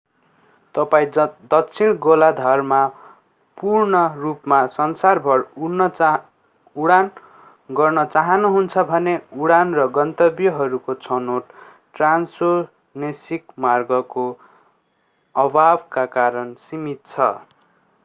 तपाईं दक्षिण गोलार्धमा पूर्ण रूपमा संसारभर उडान गर्न चाहनुहुन्छ भने उडान र गन्तव्यहरूको छनौट ट्रान्ससोनेसिक मार्गहरूको अभावका कारण सीमित छ